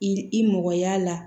I i mɔgɔ y'a la